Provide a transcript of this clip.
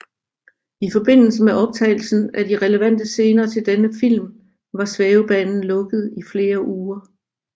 I forbindelse med optagelsen af de relevante scener til denne film var svævebanen lukket i flere uger